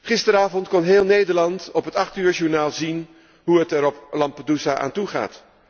Gisteravond kon heel Nederland op het achtuurjournaal zien hoe het er op Lampedusa aan toe gaat.